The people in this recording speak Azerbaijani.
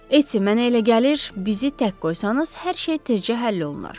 Etti, mənə elə gəlir, bizi tək qoysanız hər şey tezcə həll olunar.